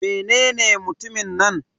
Menene mutumin nan?